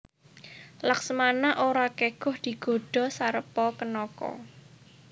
Laksmana ora keguh digodha Sarpakenaka